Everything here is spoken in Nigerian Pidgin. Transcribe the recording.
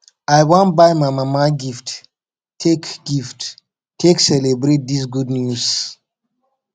i wan buy my mama gift take gift take celebrate dis good news